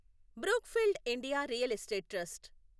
Brookfield India real estate trust